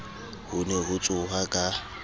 ho ne ho tsohwa ka